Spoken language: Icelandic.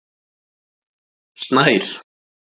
Snær